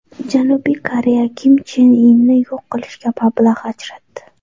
Janubiy Koreya Kim Chen Inni yo‘q qilishga mablag‘ ajratdi.